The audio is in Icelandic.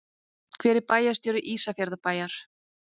Hver er bæjarstjóri Ísafjarðarbæjar?